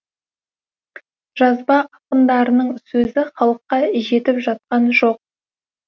жазба ақындарының сөзі халыққа жетіп жатқан жоқ